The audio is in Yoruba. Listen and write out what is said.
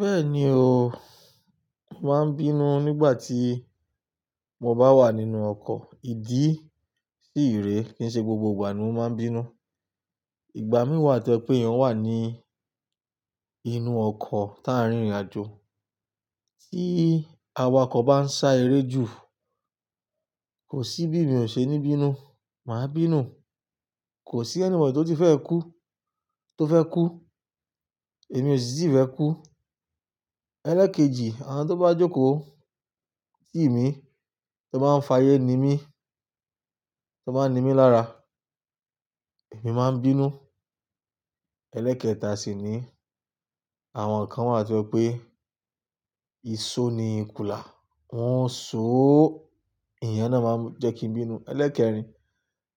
Bẹ́ẹ̀ni o, mo màá n bínú nígbà tí mo bá wà nínú ọkọ̀. Ìdí sí ìre kí i ṣe gbogbo ìgbà ni mo máa ń bínú. Ìgbà mí wà tí ó ṣe pé eyàn wà ní inú ọkọ̀ táà ń rìnrìn àjò. Tí awakọ̀ bá ń sá eré jù, kò sí bí mi ò ṣe ní bínú, màá bínú. Kò sí ẹnibody tí ó ti fẹ́ kú, tó fẹ́ kú, èmi ò sì ti fẹ́ kú. Ẹlẹ́ẹ̀kejì, àwọn tó bá jókòó sí mi, tó bá ń fayé ni mí, tó bá ń ni mí lára, èmi máa ń bínú. Ẹlẹ́ẹ̀kẹta sì ni àwọn kan wà tí ó pé ìṣó ni ikùlà, wọ́n ń ṣóó, ìyẹn náà máa ń jẹ́ kí n bínú. Ẹlẹ́ẹ̀rin,